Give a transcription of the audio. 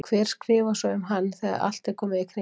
Hver skrifar svo um hann þegar allt er komið í kring?